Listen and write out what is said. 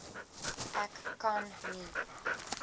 ek kan nie